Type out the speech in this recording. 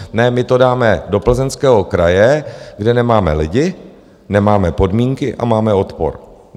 Ne, my to dáme do Plzeňského kraje, kde nemáme lidi, nemáme podmínky a máme odpor.